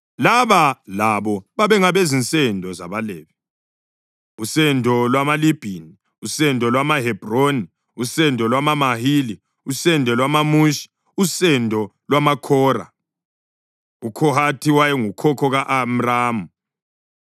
Laba labo babengabezinsendo zabaLevi: usendo lwamaLibhini, usendo lwamaHebhroni, usendo lwamaMahili, usendo lwamaMushi, usendo lwamaKhora. (UKhohathi wayengukhokho ka-Amramu;